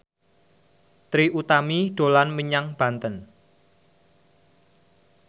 Trie Utami dolan menyang Banten